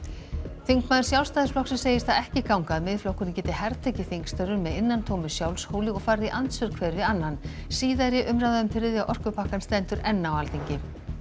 þingmaður Sjálfstæðisflokks segir það ekki ganga að Miðflokkurinn geti hertekið þingstörfin með innantómu sjálfshóli og farið í andsvör hver við annan síðari umræða um þriðja orkupakkann stendur enn á Alþingi